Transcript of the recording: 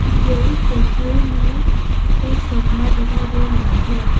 मुझे इस तस्वीर में एक कमरा दिखाई दे रहा है।